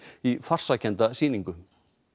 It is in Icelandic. í farsakennda sýningu